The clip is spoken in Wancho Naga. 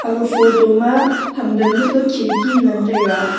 aga photo ma ham dan ma pa khidki ngan taiga.